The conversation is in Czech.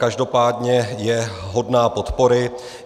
Každopádně je hodná podpory.